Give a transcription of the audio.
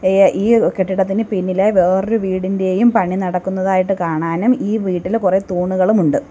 ഏ ഈ കെട്ടിടത്തിന് പിന്നിലായി വേറൊരു വീടിന്റെയും പണി നടക്കുന്നതായിട്ട് കാണാനും ഈ വീട്ടില് കൊറെ തൂണുകളും ഉണ്ട്.